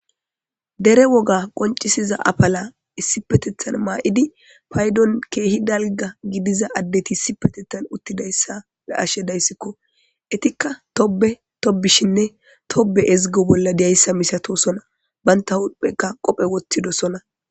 Dere woga qoncisiza apala issipetetan mayid paydon keeh dalga gidiza adet issipetethan utidaysa be'ashe daysko. Etika Tobe tobiyaysa woy Tobe ezigishe diyaysa masatosona , banta huphenka qophe wothidosona.